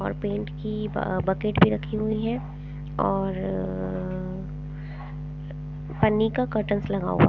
और पेंट की अह बकेट भी रखी हुई है और पन्नी का लगा हुआ।